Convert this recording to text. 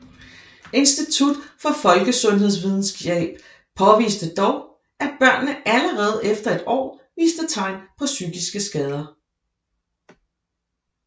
Institut for Folkesundhedsvidenskab påviste dog at børnene allerede efter et år viste tegn på psykiske skader